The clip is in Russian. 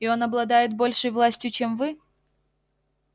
и он обладает большей властью чем вы